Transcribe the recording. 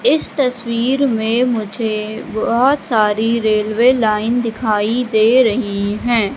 इस तस्वीर में मुझे बहोत सारी रेलवे लाइन दिखाई दे रही हैं।